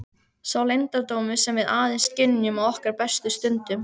Sá leyndardómur sem við aðeins skynjum á okkar bestu stundum.